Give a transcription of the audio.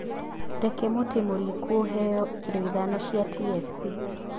Reke mũtĩ mũriku ũheo kilo ithano cia T.S.P.